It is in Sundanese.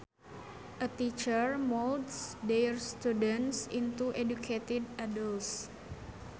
A teacher molds their students into educated adults